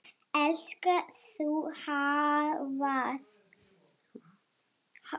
Elskar þú hvað?